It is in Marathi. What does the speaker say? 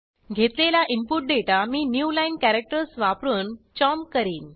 घेतलेला इनपुट दाता मी न्यू लाईन कॅरेक्टर्स वापरून चॉम्प करीन